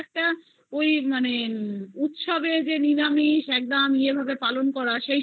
খুব একটা ওই মানে উৎসবের যে নিরামিষ একদম পালন করা হয় আমার